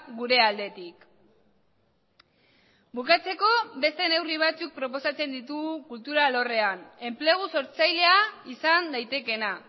gure aldetik bukatzeko beste neurri batzuk proposatzen ditugu kultura alorrean enplegu sortzailea izan daitekeena